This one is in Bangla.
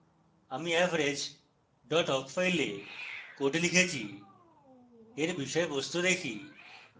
আমি average awk file code লিখেছি এর বিষয়বস্তু দেখি